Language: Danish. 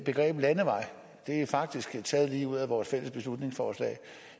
begrebet landevej og det er faktisk taget lige ud af vores fælles beslutningsforslag